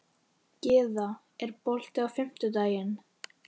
Gyða, er bolti á fimmtudaginn?